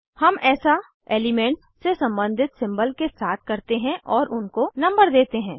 हम ऐसा एलिमेंट से सम्बंधित सिम्बल के साथ करते हैं और उनको नंबर देते हैं